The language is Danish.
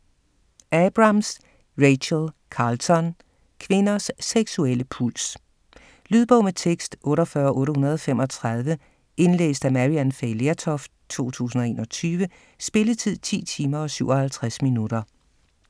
Abrams, Rachel Carlton: Kvinders seksuelle puls Lydbog med tekst 48835 Indlæst af Maryann Fay Lertoft, 2021. Spilletid: 10 timer, 57 minutter.